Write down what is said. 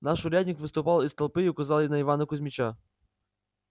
наш урядник выступил из толпы и указал на ивана кузмича